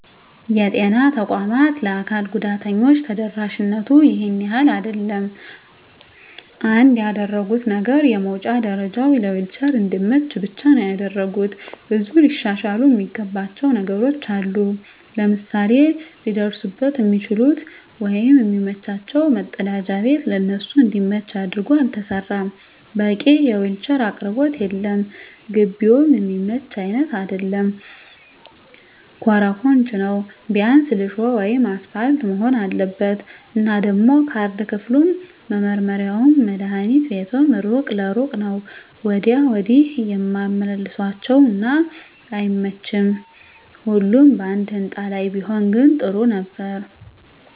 የጤና ተቋማት ለአካል ጉዳተኞች ተደራሽነቱ ይሄን ያህል አይደለም። አንድ ያደረጉት ነገር የመዉጫ ደረጀዉ ለዊልቸር እንዲመች ብቻ ነዉ ያደረጉት። ብዙ ሊሻሻሉ እሚገባቸዉ ነገሮች አሉ፤ ለምሳሌ ሊደርሱበት እሚችሉት ወይም እሚመቻቸዉ መፀዳጃ ቤት ለነሱ እንዲመች አድርጎ አልተሰራም፣ በቂ የዊልቸር አቅርቦት የለም፣ ግቢዉም እሚመች አይነት አይደለም ኮሮኮንች ነዉ ቢያንስ ሊሾ ወይም አሰፓልት መሆን አለበት። እና ደሞ ካርድ ክፍሉም፣ መመርመሪያዉም፣ መድሀኒት ቤቱም እሩቅ ለእሩቅ ነዉ ወዲያ ወዲህ ያመላልሷቸዋል እና አይመቺም ሁሉም ባንድ ህንፃ ላይ ቢሆን ግን ጥሩ ነበር።